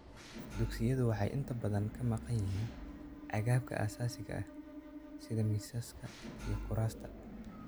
Dugsiyadu waxay inta badan ka maqan yihiin agabka aasaasiga ah sida miisaska iyo kuraasta.